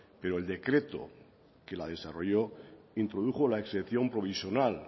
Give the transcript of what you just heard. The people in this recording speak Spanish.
pero el decreto que la desarrolló introdujo la excepción provisional